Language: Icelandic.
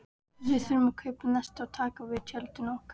Við þurfum að kaupa nesti og taka til tjöldin og.